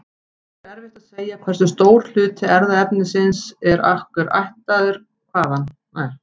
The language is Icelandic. Því er erfitt að segja hversu stór hluti erfðaefnis hvers okkar er ættaður hvaðan.